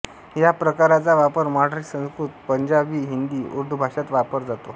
या प्रकाराचा वापर मराठी संस्कृत पंजाबी हिंदी उर्दू भाष़ांत वापर जातो